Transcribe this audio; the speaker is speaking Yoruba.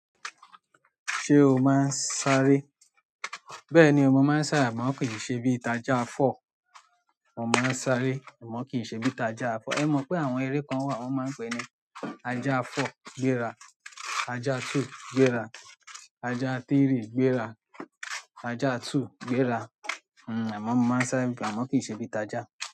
Ṣé o máa ń sáré? Bẹ́ẹ̀ni o, mo máa ń sá àmọ́ kì í ṣe bí i taja fọ́. Mọ mo ń sáré àmọ́ kì í ṣe bí i taja four. Ẹ mọ̀ pé àwọn eré kan wà wọ́n máa ń pè e ní aja four, gbéra, aja two, gbéra, aja three, gbéra, aja two, gbéra. Hmm, amo mo maa n sáré, amo ki n se bíi taja.